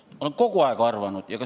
Olen kogu aeg nii arvanud.